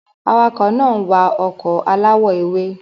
Awakọ̀ náà ń wa ọkọ̀ aláwọ̀ ewé.